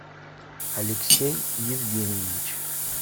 алексей евгеньевич